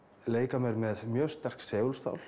leika mér með mjög sterk segulstál